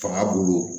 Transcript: Fanga bolo